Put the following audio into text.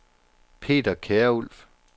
Peter Kjærulff